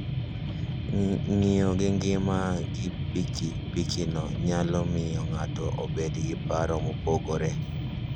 Ng'iyo gi ngima gi piki pikino nyalo miyo ng'ato obed gi paro mopogore.